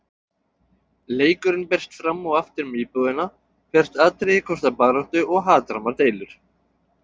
Leikurinn berst fram og aftur um íbúðina, hvert atriði kostar baráttu og hatrammar deilur.